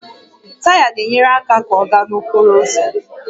Taya na-enyere àkà ka ọ gaa n'okporo ụzọ